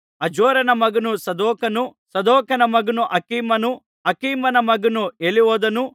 ಅಜೋರನ ಮಗನು ಸದೋಕನು ಸದೋಕನ ಮಗನು ಅಖೀಮನು ಅಖೀಮನ ಮಗನು ಎಲಿಹೂದನು